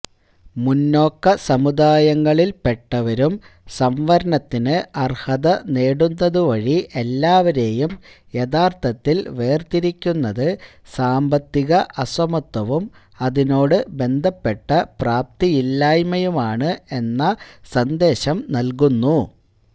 മുന്നാക്കസമുദായങ്ങളിൽ പെട്ടവരും സംവരണത്തിന് അർഹതനേടുന്നതുവഴി എല്ലാവരെയും യഥാർഥത്തിൽ വേർതിരിക്കുന്നത് സാമ്പത്തിക അസമത്വവും അതിനോട് ബന്ധപ്പെട്ട പ്രാപ്തിയില്ലായ്മയുമാണ് എന്ന സന്ദേശം നൽകുന്നു